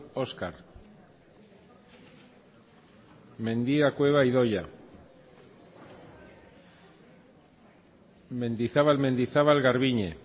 oskar mendia cueva idoia mendizabal mendizabal garbiñe